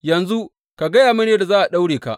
Yanzu, ka gaya mini yadda za a daure ka.